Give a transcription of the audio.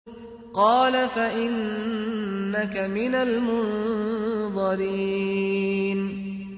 قَالَ فَإِنَّكَ مِنَ الْمُنظَرِينَ